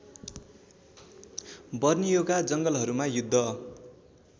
बर्नियोका जङ्गलहरूमा युद्ध